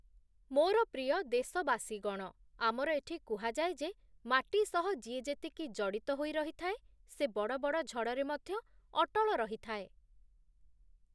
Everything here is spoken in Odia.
ମୋର ପ୍ରିୟ ଦେଶବାସୀଗଣ, ଆମର ଏଠି କୁହାଯାଏ ଯେ ମାଟି ସହ ଯିଏ ଯେତିକି ଜଡ଼ିତ ହୋଇ ରହିଥାଏ, ସେ ବଡ଼ବଡ଼ ଝଡ଼ରେ ମଧ୍ୟ ଅଟଳ ରହିଥାଏ ।